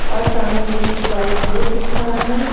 और सामने मुझे एक व्हाइट बोर्ड दिख रहा है।